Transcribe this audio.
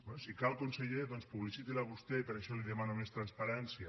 bé si cal conseller doncs publiciti la vostè i per això li demano més transparència